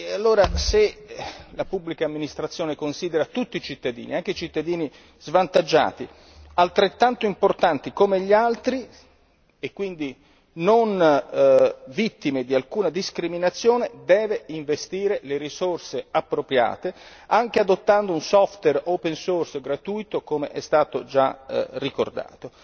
Allora, se la Pubblica amministrazione considera tutti i cittadini, anche i cittadini svantaggiati, altrettanto importanti come gli altri e quindi non vittime di alcuna discriminazione, deve investire le risorse appropriate anche adottando un softer open source gratuito, come è già stato ricordato.